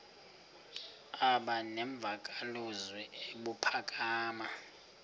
aba nemvakalozwi ebuphakama